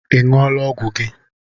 Ị ṅụọla ọgwụ gị?